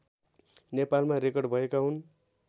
नेपालमा रेकर्ड भएका हुन्